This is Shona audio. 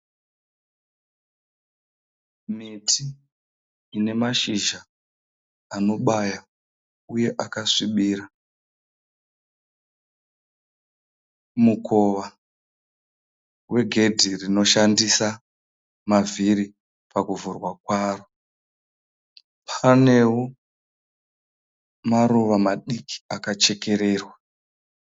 Miti ine mashizha anobaya uye akasvibira mukowa we gedhi rinoshandisa mavhiri pakuvhurwa kwaro paneo maruwa madiki akachekererwa.